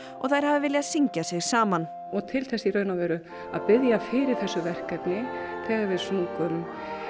og þær hafi viljað syngja sig saman og til þess í rauninni að biðja fyrir þessu verkefni þegar við sungum